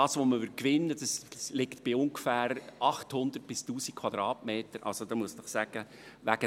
Der Bodengewinn läge bei ungefähr 800 bis 1000 Quadratmetern – also, da muss ich Ihnen sagen: